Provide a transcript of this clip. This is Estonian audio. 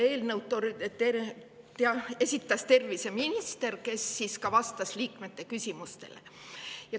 Eelnõu esitles terviseminister, kes vastas ka liikmete küsimustele.